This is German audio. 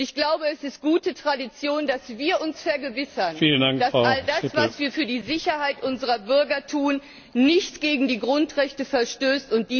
Ich glaube, es ist gute Tradition, dass wir uns vergewissern, dass all das, was wir für die Sicherheit unserer Bürger tun, nicht gegen die Grundrechte verstößt.